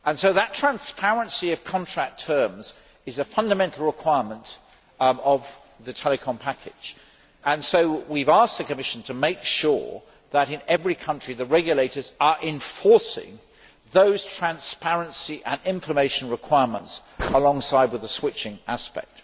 That transparency of contract terms is a fundamental requirement of the telecoms package and we have asked the Commission to make sure that, in every country, regulators are enforcing those transparency and information requirements alongside the switching aspect.